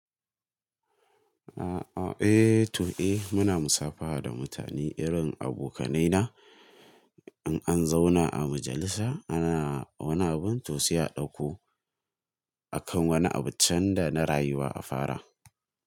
U'u eh to eh muna musafaha da mutane irin abokanaina. In an zauna a majalisa ana, wani abun to sai a ɗauko akan wani abu can da na rayuwa a fara.